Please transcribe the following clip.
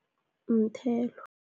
Umthelo.